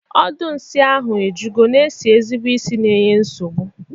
Ọdụ nsi ahụ ejigo na esi ezigbo isi na enye nsogbu.